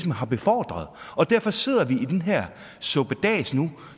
har befordret og derfor sidder vi i den her suppedas nu